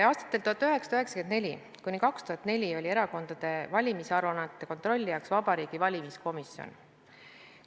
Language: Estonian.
Aastatel 1994–2004 oli erakondade valimisaruannete kontrollijaks Vabariigi Valimiskomisjon.